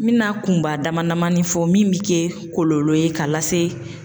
N bɛna kunba damadamanin fɔ min bɛ kɛ kɔlɔlɔ ye ka lase